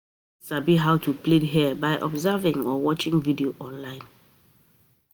Persin fit sabi how to plait hair by observing or watching videos online